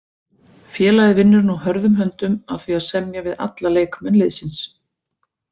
Félagið vinnur nú hörðum höndum að því að semja við alla leikmenn liðsins.